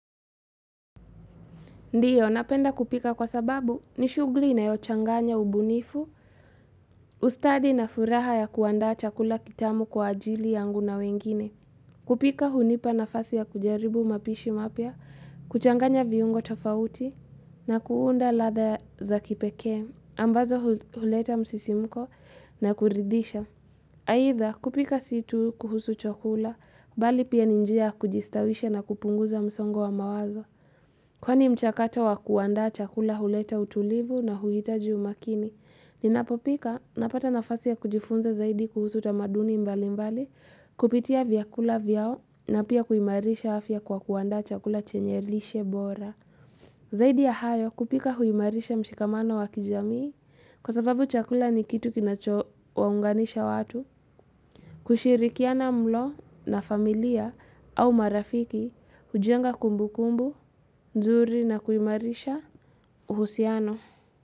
Ndio, napenda kupika kwa sababu, nishughuli inayochanganya ubunifu, ustadi na furaha ya kuandaa chakula kitamu kwa ajili yangu na wengine. Kupika hunipa nafasi ya kujaribu mapishi mapya, kuchanganya viungo tofauti, na kuunda ladha za kipekee, ambazo huleta msisimko na kuridhisha. Aidha, kupika si tu kuhusu chakula, bali pia ni njia kujistawisha na kupunguza msongo wa mawazo. Kwani mchakato wa kuaanda chakula huleta utulivu na huhitaji umakini. Ninapopika, napata nafasi ya kujifunza zaidi kuhusu tamaduni mbali mbali, kupitia vyakula vyao, na pia kuimarisha afya kwa kuaanda chakula chenye lishe bora. Zaidi ya hayo, kupika huimarisha mshikamano wa kijamii, kwa sababu chakula ni kitu kinacho waunganisha watu. Kushirikiana mlo na familia au marafiki hujenga kumbu kumbu, nzuri na kuimarisha uhusiano.